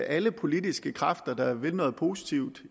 alle politiske kræfter der vil noget positivt